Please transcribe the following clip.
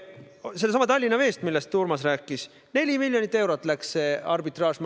Seesama Tallinna Vesi, millest Urmas rääkis – arbitraaž läks maksma 4 miljonit eurot.